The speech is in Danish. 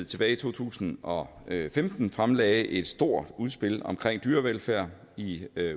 tilbage i to tusind og femten fremlagde et stort udspil om dyrevelfærd i